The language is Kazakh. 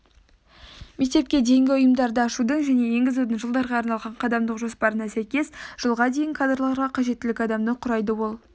мектепке дейінгі ұйымдарды ашудың және енгізудің жылдарға арналған қадамдық жоспарына сәйкес жылға дейін кадрларға қажеттілік адамды құрайды ол